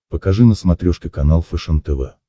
покажи на смотрешке канал фэшен тв